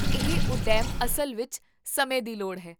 ਇਹ ਉੱਦਮ ਅਸਲ ਵਿੱਚ ਸਮੇਂ ਦੀ ਲੋੜ ਹੈ